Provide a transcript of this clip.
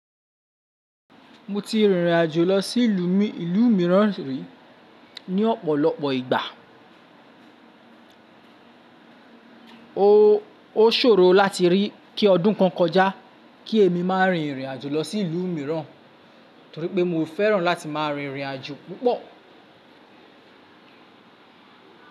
Mo ti rìnrìn àjò lọ sí ìlú mi, ìlú mìíràn rí ní ọ̀pọ̀lọpọ̀ ìgbà. Ó ṣòro láti rí i kí ọdún kan kọjá kí èmi má a rin ìrìn àjò lọ sí ìlú mìíràn torípé mo fẹ́ràn láti má a rin ìrìn àjò púpọ̀.